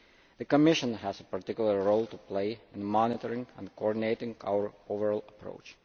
The Commission has a particular role to play in monitoring and coordinating our overall approach.